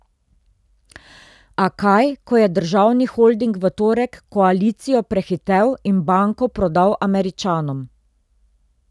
A kaj, ko je državni holding v torek koalicijo prehitel in banko prodal Američanom.